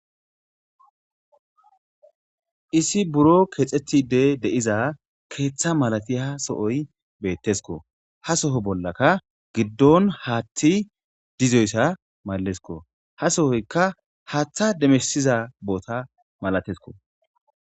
Issi buro kexetide de'za keetha malatiza sohoy betesko, ha Soho bollaka gidon haathey Dizoysa malesko, ha sohoyka haatha demisiza boota masatesko.